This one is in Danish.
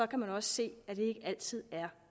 kan også se at det ikke altid er